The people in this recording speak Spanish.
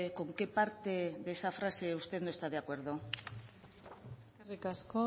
con qué parte de esa frase usted no está de acuerdo eskerrik asko